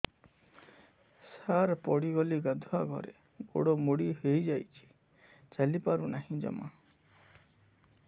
ସାର ପଡ଼ିଗଲି ଗାଧୁଆଘରେ ଗୋଡ ମୋଡି ହେଇଯାଇଛି ଚାଲିପାରୁ ନାହିଁ ଜମା